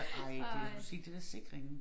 Ej det har du set det der Sikringen?